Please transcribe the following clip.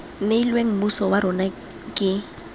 neilweng mmuso wa rona ke